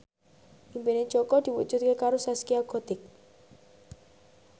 impine Jaka diwujudke karo Zaskia Gotik